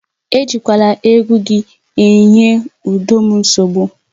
Ejikwala egwu gị enye udo m nsogbu!